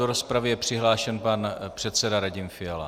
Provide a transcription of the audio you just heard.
Do rozpravy je přihlášen pan předseda Radim Fiala.